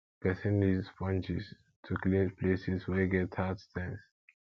person need sponges to clean places wey get hard stains